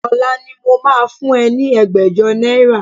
Ọ̀la ni mo máa fún ẹ ní ẹgbẹ̀jọ náírà